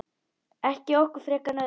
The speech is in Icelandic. Ekki okkur frekar en öðrum.